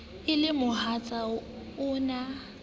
e le mohatsa o na